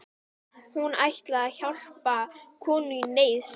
Hún ætlaði að hjálpa konu í neyð, sagði